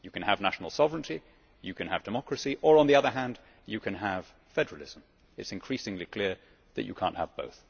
You can have national sovereignty, you can have democracy, or on the other hand you can have federalism. It is increasingly clear that you cannot have both.